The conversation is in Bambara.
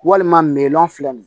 Walima filɛ nin ye